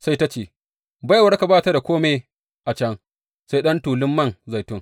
Sai ta ce, Baiwarka ba ta da kome a can, sai ɗan tulun man zaitun.